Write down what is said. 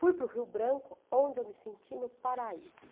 Fui para o Rio Branco, onde eu me senti no paraíso.